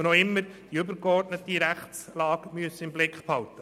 Wir müssen immer die übergeordnete Rechtslage im Blick behalten.